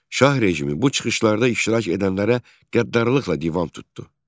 Şah rejimi bu çıxışlarda iştirak edənlərə qəddarlıqla divan tutdu.